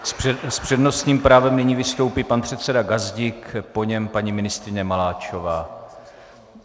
S přednostním právem nyní vystoupí pan předseda Gazdík, po něm paní ministryně Maláčová.